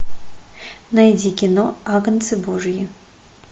найди кино агнцы божьи